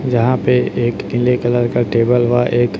जहां पे एक ईले कलर का टेबल व एक--